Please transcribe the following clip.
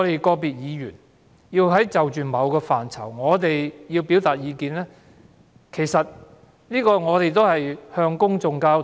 個別議員就某個範疇表達意見，目的是為了向公眾交代。